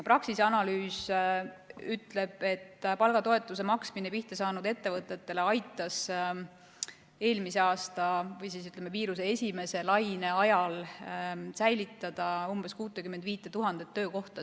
Praxise analüüs ütleb, et palgatoetuse maksmine kriisi tõttu pihta saanud ettevõtetele aitas eelmisel aastal või, ütleme, viiruse esimese laine ajal säilitada umbes 65 000 töökohta.